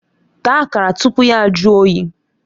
Taa Akara tupu ya jụọ oyi!